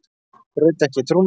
Braut ekki trúnað